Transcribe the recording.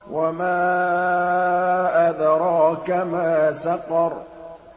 وَمَا أَدْرَاكَ مَا سَقَرُ